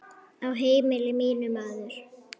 Á heimili mínu, maður.